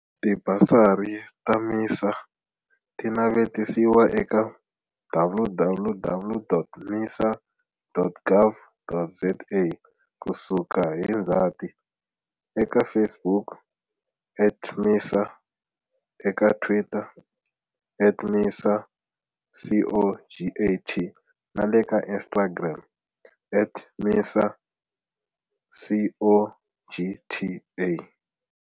Tibasari ta MISA ti navetisiwa eka www.misa.gov.za kusuka hi Ndzati, eka Facebook at MISA, eka Twitter at MISA CoGTA na le ka Instagram at MISA CoGTA.